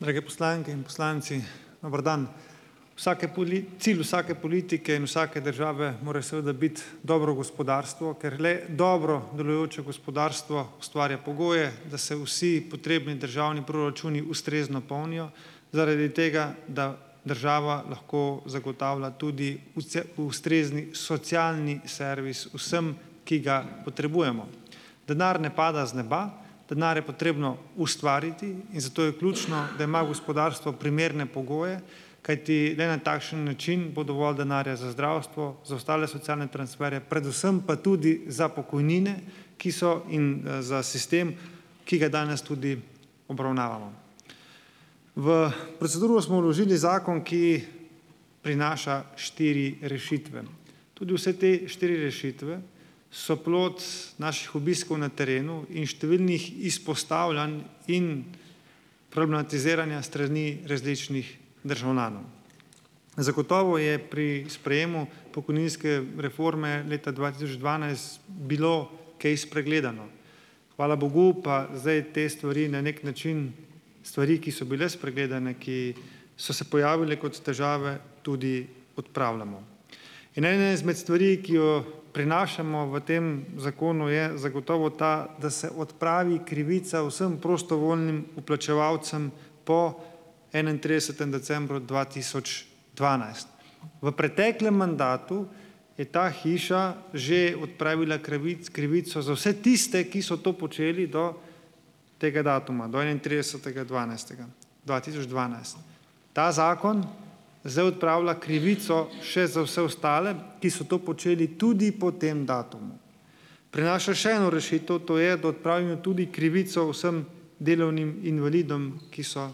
Drage poslanke in poslanci! Dober dan! Vsake puli, cilj vsake politike in vsake države mora seveda biti dobro gospodarstvo, ker le dobro delujoče gospodarstvo ustvarja pogoje, da se vsi potrebni državni proračuni ustrezno polnijo zaradi tega, da država lahko zagotavlja tudi vse, ustrezni socialni servis vsem, ki ga potrebujemo. Denar ne pada z neba. Denar je potrebno ustvariti in zato je ključno, da ima gospodarstvo primerne pogoje, kajti le na takšen način bo dovolj denarja za zdravstvo, za ostale socialne transferje, predvsem pa tudi za pokojnine, ki so, in za sistem, ki ga danes tudi obravnavamo. V proceduro smo vložili zakon, ki prinaša štiri rešitve. Tudi vse te štiri rešitve so plod naših obiskov na terenu in številnih izpostavljanj in problematiziranja s strani različnih državljanov. Zagotovo je pri sprejemu pokojninske reforme leta dva tisoč dvanajst bilo kaj spregledano. Hvala bogu pa zdaj te stvari na nek način, stvari, ki so bile spregledane, ki so se pojavile kot težave, tudi odpravljamo. In ena izmed stvari, ki jo prinašamo v tem zakonu, je zagotovo ta, da se odpravi krivica vsem prostovoljnim vplačevalcem po enaintridesetem decembru dva tisoč dvanajst. V preteklem mandatu je ta hiša že odpravila krivic, krivico za vse tiste, ki so to počeli do tega datuma, do enaintridesetega dvanajstega dva tisoč dvanajst. Ta zakon zdaj odpravlja krivico še za vse ostale, ki so to počeli tudi po tem datumu. Prenaša še eno rešitev, to je, da odpravijo tudi krivico vsem delovnim invalidom, ki so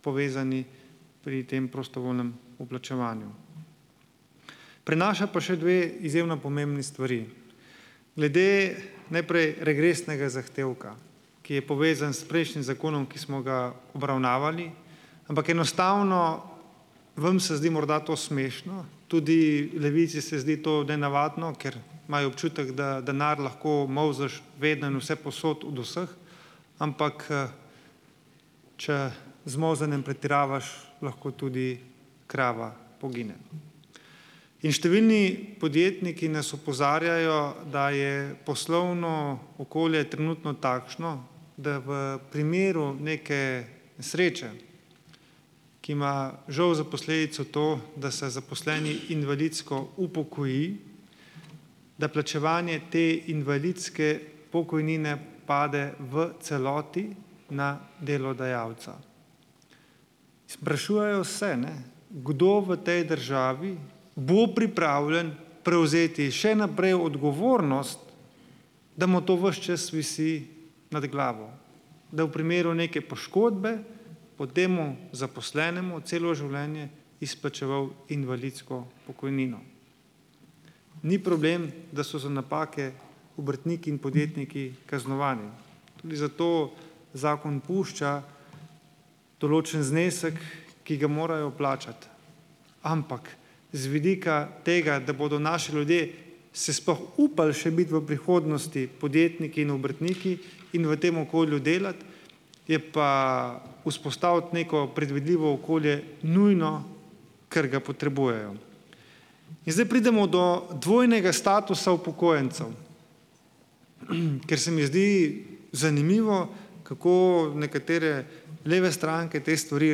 povezani pri tem prostovoljnem vplačevanju. Prenaša pa še dve izjemno pomembni stvari. Glede najprej regresnega zahtevka, ki je povezan s prejšnjim zakonom, ki smo ga obravnavali, ampak enostavno vam se zdi morda to smešno, tudi Levici se zdi to nenavadno, ker imajo občutek, da denar lahko molzeš vedno in vsepovsod od vseh, ampak če z molzenjem pretiravaš, lahko tudi krava pogine. In številni podjetniki nas opozarjajo, da je poslovno okolje trenutno takšno, da v primeru neke nesreče, ki ima žal za posledico to, da se zaposleni invalidsko upokoji, da plačevanje te invalidske pokojnine pade v celoti na delodajalca. Sprašujejo se, ne, kdo v tej državi bo pripravljen prevzeti še naprej odgovornost, da mu to ves čas visi nad glavo, da v primeru neke poškodbe bo temu zaposlenemu celo življenje izplačeval invalidsko pokojnino. Ni problem, da so za napake obrtniki in podjetniki kaznovani, tudi zato zakon pušča določen znesek, ki ga morajo plačati, ampak z vidika tega, da bodo naši ljudje se sploh upali še biti v prihodnosti podjetniki in obrtniki in v tem okolju delati, je pa vzpostaviti neko predvidljivo okolje nujno, ker ga potrebujejo. In zdaj pridemo do dvojnega statusa upokojencev, ker se mi zdi zanimivo, kako nekatere leve stranke te stvari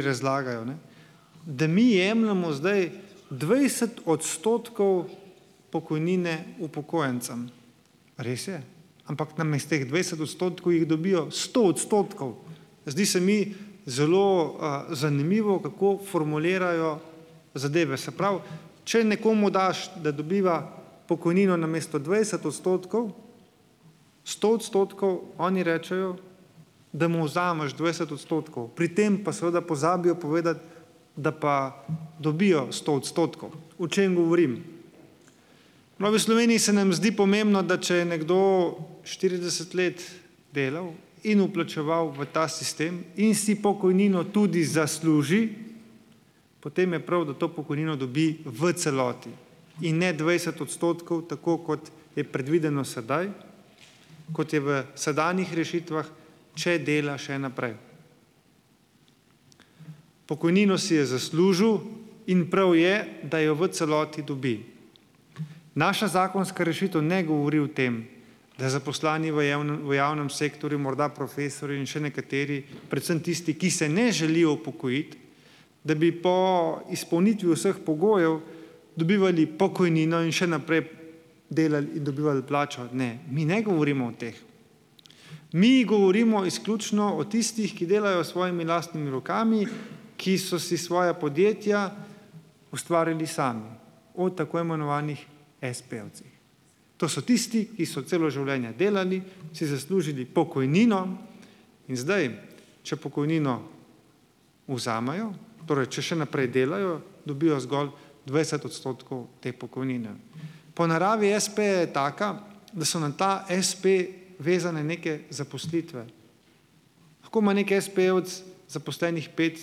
razlagajo, ne, da mi jemljemo zdaj dvajset odstotkov pokojnine upokojencem. Res je, ampak namesto teh dvajset odstotkov jih dobijo sto odstotkov. Zdi se mi zelo zanimivo, kako formulirajo zadeve. Se pravi, če nekomu daš, da dobiva pokojnino namesto dvajset odstotkov sto odstotkov, oni rečejo, da mu vzameš dvajset odstotkov, pri tem pa seveda pozabijo povedati, da pa dobijo sto odstotkov. O čem govorim? V Novi Sloveniji se nam zdi pomembno, da če je nekdo štirideset let delal in vplačeval v ta sistem in si pokojnino tudi zasluži, potem je prav, da to pokojnino dobi v celoti in ne dvajset odstotkov, tako kot je predvideno sedaj, kot je v sedanjih rešitvah, če dela še naprej. Pokojnino si je zaslužil in prav je, da jo v celoti dobi. Naša zakonska rešitev ne govori o tem, da zaposleni v javnem, v javnem sektorju, morda profesorji in še nekateri, predvsem tisti, ki se ne želijo upokojiti, da bi po izpolnitvi vseh pogojev dobivali pokojnino in še naprej delali in dobivali plačo. Ne, mi ne govorimo o teh. Mi govorimo izključno o tistih, ki delajo s svojimi lastnimi rokami, ki so si svoja podjetja ustvarili sami, o tako imenovanih espejevcih. To so tisti, ki so celo življenje delali, si zaslužili pokojnino, in zdaj, če pokojnino vzamejo, torej če še naprej delajo, dobijo zgolj dvajset odstotkov te pokojnine. Po naravi espeja je taka, da so na ta espe vezane neke zaposlitve. Lahko ima neki espejevec zaposlenih pet,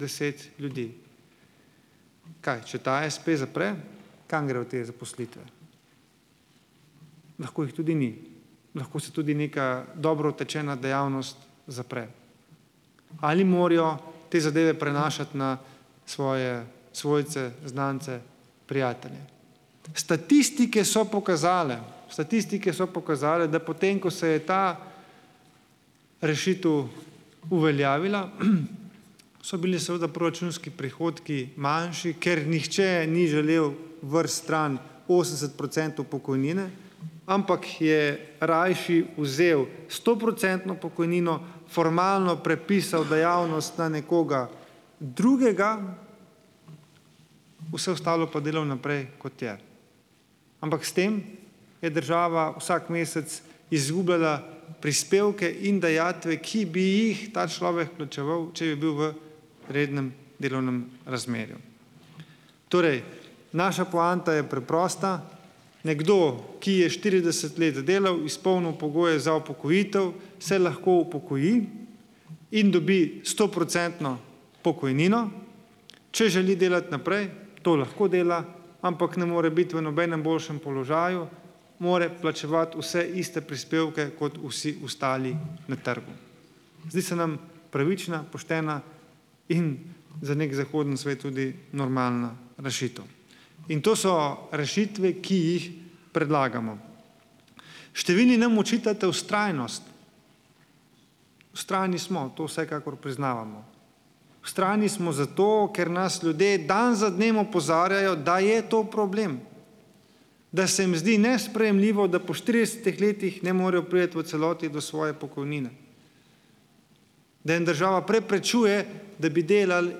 deset ljudi. Kaj, če ta espe zapre, kam grejo te zaposlitve? Lahko jih tudi ni, lahko se tudi neka dobro utečena dejavnost zapre. Ali morajo te zadeve prenašati na svoje svojce, znance, prijatelje? Statistike so pokazale, statistike so pokazale, da potem, ko se je ta rešitev uveljavila, so bili seveda proračunski prihodki manjši, ker nihče ni želel vreči stran osemdeset procentov pokojnine, ampak je rajši vzel stoprocentno pokojnino, formalno prepisal dejavnost na nekoga drugega, vse ostalo pa delal naprej, kot je. Ampak s tem je država vsak mesec izgubljala prispevke in dajatve, ki bi jih ta človek plačeval, če bi bil v rednem delovnem razmerju. Torej, naša poanta je preprosta. Nekdo, ki je štirideset let delal, izpolnil pogoje za upokojitev, se lahko upokoji in dobi stoprocentno pokojnino, če želi delati naprej, to lahko dela, ampak ne more biti v nobenem boljšem položaju, more plačevati vse iste prispevke, kot vsi ostali na trgu. Zdi se nam pravična, poštena in za nek zahodni svet tudi normalna rešitev. In to so rešitve, ki jih predlagamo. Številni nam očitate vztrajnost. Vztrajni smo, to vsekakor priznavamo. Vztrajni smo zato, ker nas ljudje dan za dnem opozarjajo, da je to problem, da se jim zdi nesprejemljivo, da po štiridesetih letih ne morejo priti v celoti do svoje pokojnine. Da jim država preprečuje, da bi delali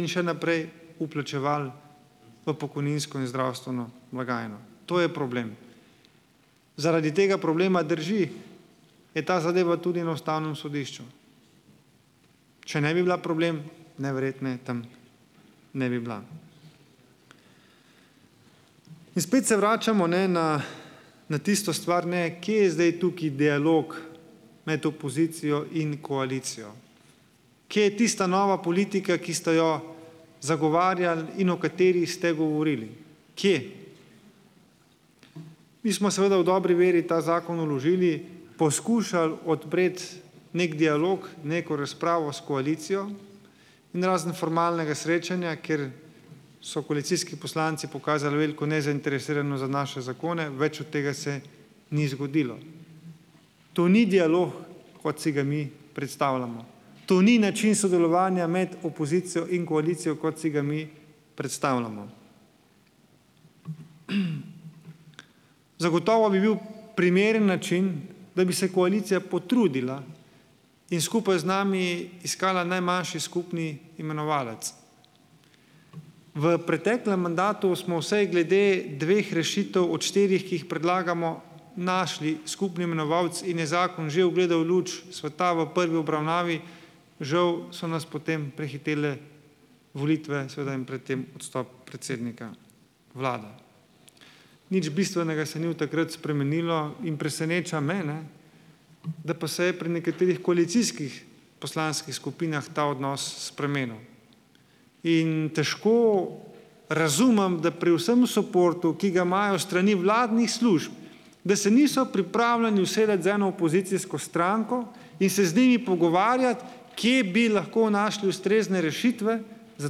in še naprej vplačevali v pokojninsko in zdravstveno blagajno. To je problem. Zaradi tega problema, drži, je ta zadeva tudi na Ustavnem sodišču. Če ne bi bila problem, najverjetneje tam ne bi bila. In spet se vračamo, ne, na na tisto stvar, ne, kje je zdaj tukaj dialog med opozicijo in koalicijo. Kje je tista nova politika, ki ste jo zagovarjali in o kateri ste govorili? Kje? Mi smo seveda v dobri veri ta zakon vložili, poskušal odpreti nek dialog, neko razpravo s koalicijo in razen formalnega srečanja, kjer so koalicijski poslanci pokazali veliko nezainteresiranost za naše zakone, več od tega se ni zgodilo. To ni dialog, kot si ga mi predstavljamo. To ni način sodelovanja med opozicijo in koalicijo, kot si ga mi predstavljamo. Zagotovo bi bil primeren način, da bi se koalicija potrudila in skupaj z nami iskala najmanjši skupni imenovalec. V preteklem mandatu smo vsaj glede dveh rešitev od štirih, ki jih predlagamo, našli skupni imenovalec in je zakon že ugledal luč sveta v prvi obravnavi, žal so nas potem prehitele volitve, seveda, in pred tem odstop predsednika vlade. Nič bistvenega se ni od takrat spremenilo in preseneča me, ne, da pa se je pri nekaterih koalicijskih poslanskih skupinah ta odnos spremenil, in težko razumem, da pri vsem suportu, ki ga imajo s strani vladnih služb, da se niso pripravljeni usesti z eno opozicijsko stranko in se z njimi pogovarjati, kje bi lahko našli ustrezne rešitve za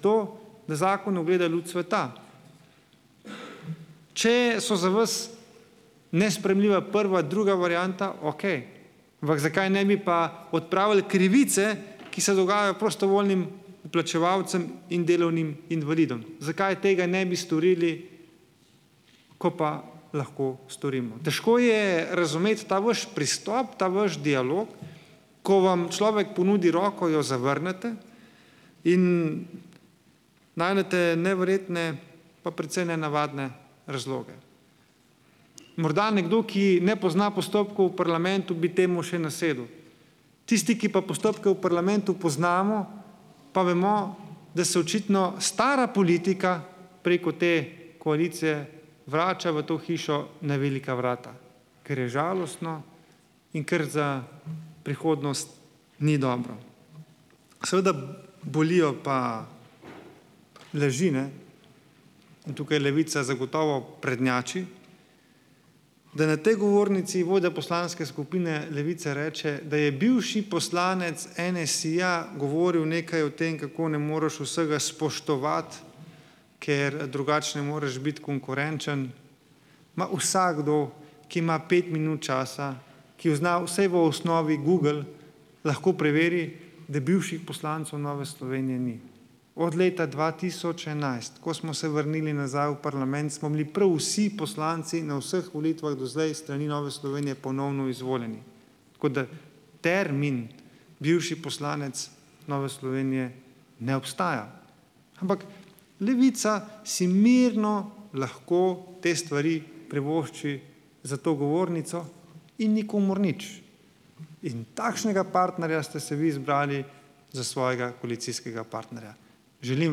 to, da zakon ugleda luč sveta. Če so za vas nesprejemljiva prva, druga varianta, okej, ampak zakaj ne bi pa odpravili krivice, ki se dogajajo prostovoljnim vplačevalcem in delovnim invalidom. Zakaj tega ne bi storili, ko pa lahko storimo? Težko je razumeti ta vaš pristop, ta vaš dialog, ko vam človek ponudi roko, jo zavrnete in najdete neverjetne pa precej nenavadne razloge. Morda nekdo, ki ne pozna postopkov v parlamentu, bi temu še nasedel. Tisti, ki pa postopke v parlamentu poznamo, pa vemo, da se očitno stara politika preko te koalicije vrača v to hišo na velika vrata, kar je žalostno in kar za prihodnost ni dobro. Seveda bolijo pa laži, ne, in tukaj Levica zagotovo prednjači, da na tej govornici vodja Poslanske skupine Levice reče, da je bivši poslanec NSi-ja govoril nekaj o tem, kako ne moreš vsega spoštovati, ker drugače ne moreš biti konkurenčen. Ma, vsakdo, ki ima pet minut časa, ki v zna vsaj v osnovi Google, lahko preveri, da bivših poslancev Nove Slovenije ni. Od leta dva tisoč enajst, ko smo se vrnili nazaj v parlament, smo bili prav vsi poslanci na vseh volitvah do zdaj s strani Nove Slovenije ponovno izvoljeni. Tako da, termin bivši poslanec Nove Slovenije ne obstaja, ampak Levica si mirno lahko te stvari privošči, za to govornico in nikomur nič. In takšnega partnerja ste si vi zbrali za svojega koalicijskega partnerja. Želim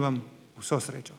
vam vso srečo.